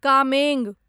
Kameng